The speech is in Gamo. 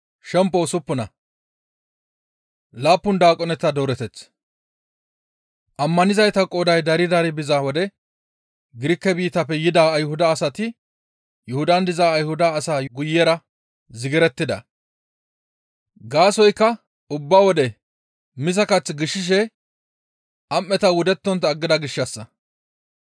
Ammanizayta qooday dari dari biza wode Girike biittafe yida Ayhuda asati Yuhudan diza Ayhuda asaa guyera zigirettida; gaasoykka ubba wode miza kath gishashe am7eta wudettontta aggida gishshassa.